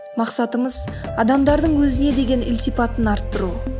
мақсатымыз адамдардың өзіне деген ілтипатын арттыру